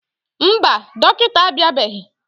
Mba, dọkịta abịabeghị.